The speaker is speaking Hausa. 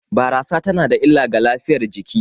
Barasa tana da illa ga lafiyar jiki